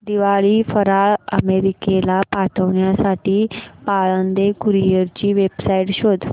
दिवाळी फराळ अमेरिकेला पाठविण्यासाठी पाळंदे कुरिअर ची वेबसाइट शोध